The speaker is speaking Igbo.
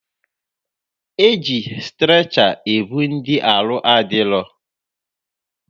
Eji strecha ebu ndị arụ adịrọ